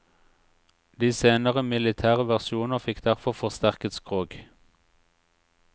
De senere militære versjoner fikk derfor forsterket skrog.